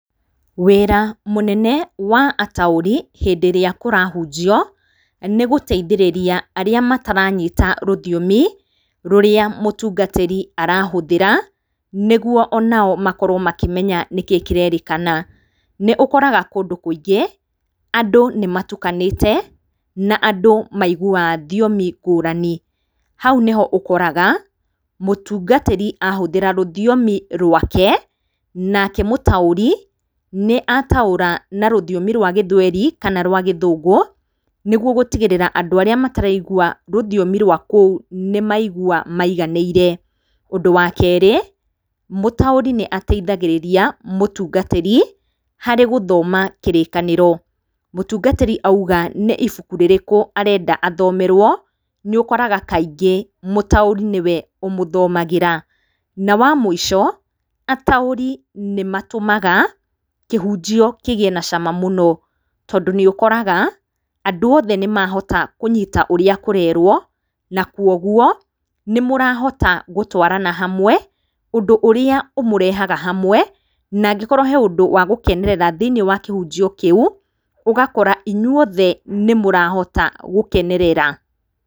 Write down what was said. Wĩra mũnene wa ataũri hĩndĩrĩa kũrahunjio, nĩ gũteithĩrĩria arĩa mataranyita rũthiomi rũrĩa mũtungatĩri arahũthĩra, nĩguo onao makorwo makĩmenya nĩkĩ kĩrerĩkana, nĩ ũkoraga kũndũ kũingĩ, andũ nĩ matukanĩte, na andũ maiguwaga thiomi ngũrani, hau nĩ ho ũkoraga mũtungatĩri ahũthĩra rũthiomi rwake, nake mũtaũri nĩ ataũra na rũthiomi rwa gĩthweri, kana rwa gĩthũngũ, nĩguo gũtigĩrĩra andũ arĩa mataraigwa rũthiomi rwa kũu, nĩ maigwa maiganĩire, ũndũ wa kerĩ, mũtaurĩ nĩ ateithagĩrĩria mũtungatĩri, harĩ gũthoma kĩrĩkanĩro, mũtungatĩri auga nĩ ibuku rĩrĩkũ arenda athomerwo, nĩ ũkoraga kaingĩ mũtaũri nĩwe ũmũthomagĩra, na wamũico, ataũri nĩmatũmaga kĩhunjio kĩgĩe na cama mũno, tondũ nĩũkoraga andũ othe nĩmahota kũnyita ũrĩa kũrerwo, na kwoguo nĩ mũrahota gũtwarana hamwe, ũndũ ũrĩa ũmũrehaga hamwe, nangĩkorwo he ũndũ wa gũkenerera thĩiniĩ wa kĩhunjio kĩu, ũgakora inyuothe nĩ mũrahota gũkenerera.